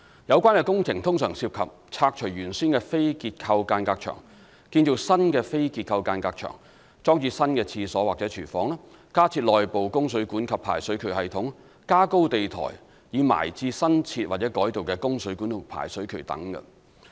有關的工程通常涉及拆除原先的非結構間隔牆、建造新的非結構間隔牆、裝置新廁所或廚房、加設內部供水管及排水渠系統，以及加高地台以埋置新設或改道的供水管及排水渠等。